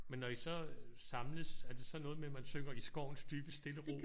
Men når I så samles er det så noget med at man synger I skovens dybe stille ro?